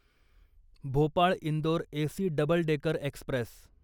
Bhopal Indore AC double decker Express